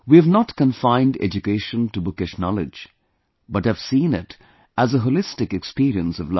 We have not confined education to bookish knowledge, but have seen it as a holistic experience of life